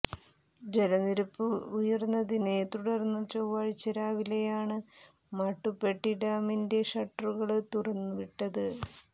ജലനിരപ്പ് ഉയര്ന്നതിനെ തുടര്ന്ന് ചൊവ്വാഴ്ച രാവിലെയാണ് മാട്ടുപ്പെട്ടി ഡാമിന്റെ ഷട്ടറുകള് തുറന്നു വിട്ടത്